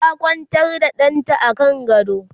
ta Kwantar da ɗanta a kan gado